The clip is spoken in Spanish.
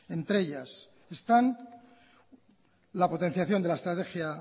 entre ellas están la potenciación de la estrategia